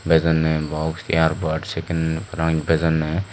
bejonne box earbuds sekken parapang bejonne.